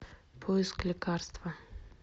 поиск лекарства